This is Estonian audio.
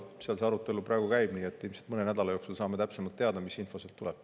See arutelu praegu käib, nii et ilmselt mõne nädala jooksul saame täpsemalt teada, mis info sealt tuleb.